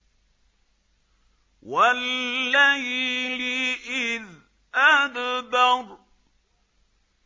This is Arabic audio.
وَاللَّيْلِ إِذْ أَدْبَرَ